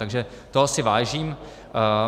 Takže toho si vážím.